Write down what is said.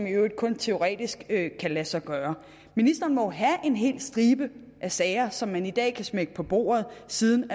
i øvrigt kun teoretisk kan lade sig gøre ministeren må jo have en hel stribe af sager som hun i dag kan smække på bordet siden